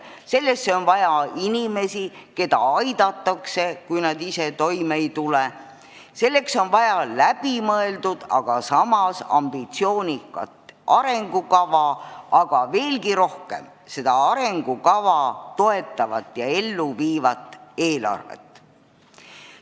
Selleks on vaja inimesi, keda aidatakse, kui nad ise toime ei tule, selleks on vaja läbimõeldud, aga samas ambitsioonikat arengukava, aga veelgi rohkem seda arengukava toetavat ja ellu viivat eelarvet.